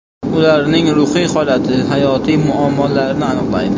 Ularning ruhiy holati, hayotiy muammolarini aniqlaydi.